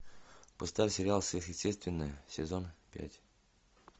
поставь сериал сверхъестественное сезон пять